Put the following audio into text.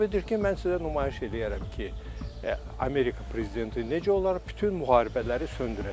İndi hesab edir ki, mən sizə nümayiş eləyərəm ki, Amerika prezidenti necə olar, bütün müharibələri söndürəcəm.